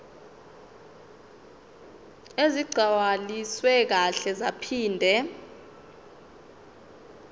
ezigcwaliswe kahle zaphinde